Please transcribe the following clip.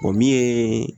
O min ye